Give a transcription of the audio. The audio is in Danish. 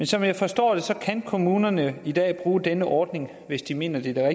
som jeg forstår det kan kommunerne i dag bruge denne ordning hvis de mener det er